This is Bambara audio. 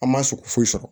An ma sogo foyi sɔrɔ